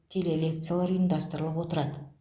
телелекциялар ұйымдастырылып отырады